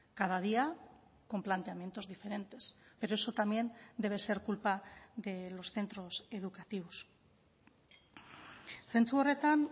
cada día con planteamientos diferentes pero eso también debe ser culpa de los centros educativos zentzu horretan